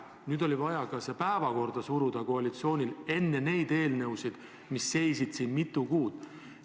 Nüüd oli vaja koalitsioonil see päevakorda suruda enne neid eelnõusid, mis seisid siin mitu kuud.